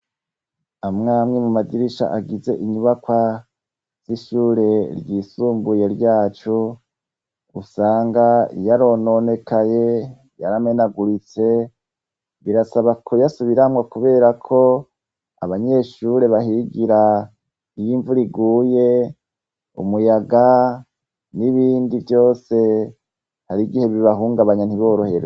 Amwamwe mu madirisha agize inyubaka z'ishure ryisumbuye ryacu gusanga yarononekaye yaramenaguritse birasaba kuyasubiramwo, kubera ko abanyeshure bahigira iyo imvu riguye umwe uyaga n'ibindi vyose hari igihe bibahungabanya ntiboroheroa.